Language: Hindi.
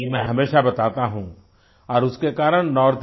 ये मैं हमेशा बताता हूँ और उसके कारण नॉर्थ